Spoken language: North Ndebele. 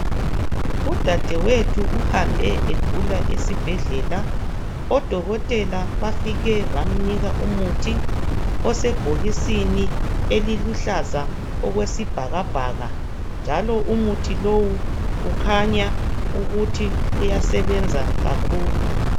Udadewethu uhambe egula esibhedlela odokotela bafike bamnika umuthi osebhokisini eliluhlaza okwesibhakabhaka, njalo umuthi lowu kukhanya ukuthi uyasebenza kakhulu.